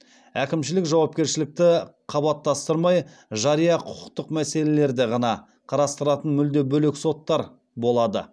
әкімшілік жауапкершілікті қабаттастырмай жария құқықтық мәселелерді ғана қарастыратын мүлде бөлек соттар болады